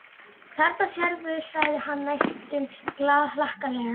Þarna sérðu, sagði hann næstum glaðhlakkalega.